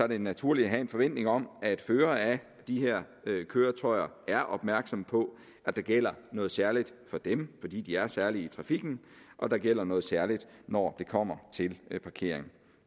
det naturligt at have en forventning om at førere af de her køretøjer er opmærksomme på at der gælder noget særligt for dem fordi de er særlige i trafikken og der gælder noget særligt når det kommer til parkering